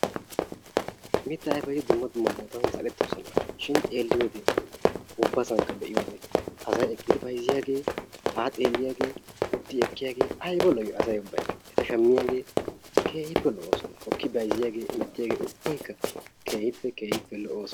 Mittaa ayfeti dumma dumma bootan zal"ettoosona shin xeeliyode ubbasankka be'iyodee eqqidi bayzziyaagee, haa xeelliyaagee, utti ekkiyaagee ayba lo"i asay ubbaykka! Eta shammiyagee keehippe lo'oosona. Hokki bayzziyaagee hemettiyaagee ubbaykka keehippe keehippe lo'oosona.